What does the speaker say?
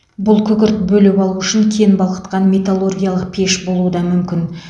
бұл күкірт бөліп алу үшін кен балқытқан металлургиялық пеш болуы да мүмкін